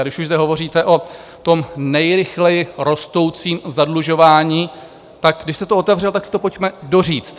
A když už zde hovoříte o tom nejrychleji rostoucím zadlužování, tak když jste to otevřel, tak si to pojďme doříct.